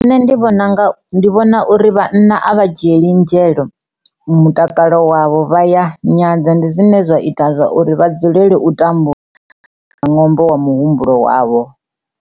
Nṋe ndi vhona nga, ndi vhona uri vhanna a vha dzhieli nzhelo mutakalo wavho vha ya nyadza ndi zwine zwa ita uri vha dzulele u tambula nga ṅwambo wa muhumbulo wavho.